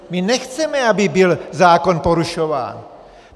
My nechceme, aby byl zákon porušován.